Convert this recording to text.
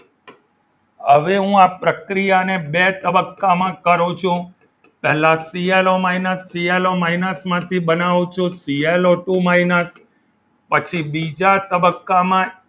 હવે હું આ પ્રક્રિયાને બે તબક્કામાં કરું છું પહેલા સીએલઓ minus સીએલઓ minus માંથી બનાવું છું સીએલઓ ટુ minus પછી બીજા તબક્કામાં